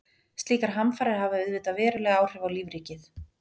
slíkar hamfarir hafa auðvitað veruleg áhrif á lífríkið